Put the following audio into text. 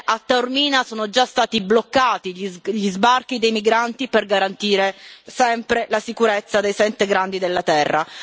Ebbene, a Taormina sono già stati bloccati gli sbarchi dei migranti per garantire sempre la sicurezza dei sette grandi della Terra.